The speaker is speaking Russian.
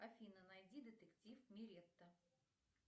афина найди детектив миретта